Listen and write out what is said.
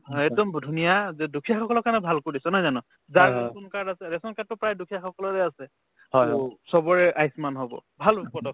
সেইটো ধুনীয়া যে দুখীয়াসকলৰ কাৰণে ভাল কৰিছে নহয় জানো যাৰ ration card আছে ration card টো প্ৰায় দুখীয়াসকলৰে আছে to চবৰে আয়ুসমান হব ভাল পদক্ষেপ